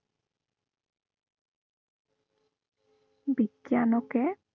বিজ্ঞানকে